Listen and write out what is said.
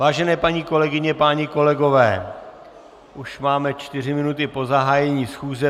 Vážené paní kolegyně, páni kolegové, už máme čtyři minuty po zahájení schůze.